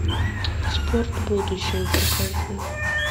спорт будущего покажи